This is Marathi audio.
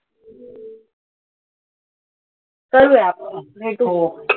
चलूया आपण, भेटू.